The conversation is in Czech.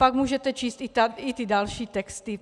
Pak můžete číst i ty další texty.